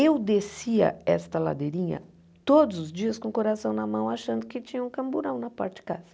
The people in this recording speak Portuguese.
Eu descia esta ladeirinha todos os dias com o coração na mão, achando que tinha um camburão na parte de casa.